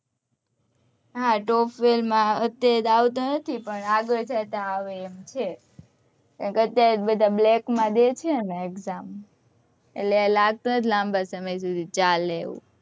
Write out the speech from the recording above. હા top vale માં અત્યારે આવતો નથી પણ આગળ જય તો આવે એમ છે અત્યારે તો બધા black મા દે છે ને exam એટલે લાગતું નથી કે લાંબા સમય સુધી ચાલે